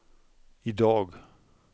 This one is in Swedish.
idag